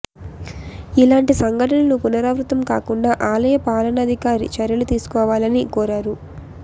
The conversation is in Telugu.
ఇలాంటి సంఘటనలు పునరావృతం కాకుండా ఆలయ పాలనాధికారి చర్యలు తీసుకోవాలని కోరారు